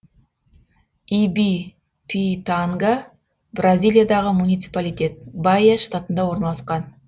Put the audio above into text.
ибипитанга бразилиядағы муниципалитет баия штатында орналасқан